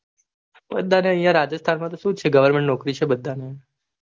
બધાને યા રાજસ્થાન મતો સુચે goverment નોકરી છે badhane